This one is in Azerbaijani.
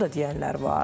Bunu da deyənlər var.